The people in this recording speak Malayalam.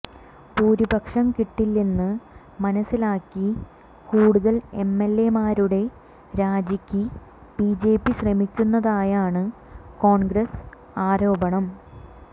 ഭൂരിപക്ഷം കിട്ടില്ലെന്ന് മനസിലാക്കി കൂടുതൽ എംഎൽഎമാരുടെ രാജിയ്ക്ക് ബിജെപി ശ്രമിക്കുന്നതായാണ് കോൺഗ്രസ് ആരോപണം